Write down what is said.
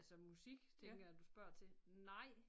Altså musik tænker jeg du spørger til nej